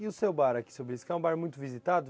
E o seu bar aqui, seu, é um bar muito visitado?